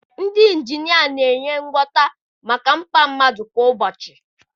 Ndị injinia na-enye ngwọta maka mkpa mmadụ kwa ụbọchị.